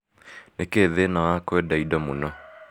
Nĩkĩĩ thĩna wa kũenda indo mũno?